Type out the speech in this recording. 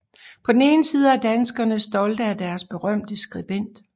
På den ene side er danskerne stolte af deres berømte skribent